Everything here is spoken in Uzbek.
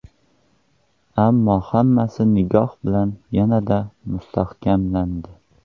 Ammo hammasi nikoh bilan yanada mustahkamlandi.